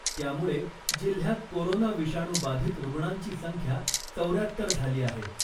त्यामुळे जिल्ह्यात कोरोना विषाणू बाधित रुग्णांची संख्या चौर्यात्तर झाली आहे .